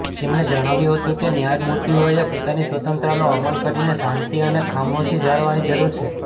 તેમણે જણાવ્યું હતું કે ન્યાયમૂર્તિઓએ પોતાની સ્વતંત્રતાનો અમલ કરીને શાંતિ અને ખામોશી જાળવવાની જરુર છે